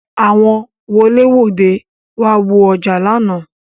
Àwọn wolẹ-wòde wá wo ọjà lánàá.